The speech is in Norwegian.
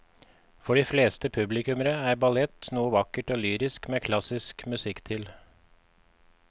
For de fleste publikummere er ballett noe vakkert og lyrisk med klassisk musikk til.